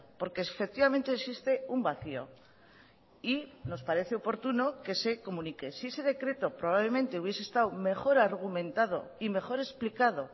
porque efectivamente existe un vacío y nos parece oportuno que se comunique si ese decreto probablemente hubiese estado mejor argumentado y mejor explicado